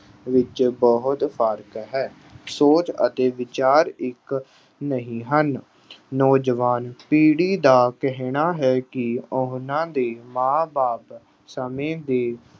ਵਿੱਚ ਬਹੁਤ ਫ਼ਰਕ ਹੈ। ਸੋਚ ਅਤੇ ਵਿਚਾਰ ਇੱਕ ਨਹੀਂ ਹਨ। ਨੌਜਵਾਨ ਪੀੜ੍ਹੀ ਦਾ ਕਹਿਣਾ ਹੈ ਕਿ ਉਹਨਾਂ ਦੇ ਮਾਂ ਬਾਪ ਸਮੇਂ ਦੇ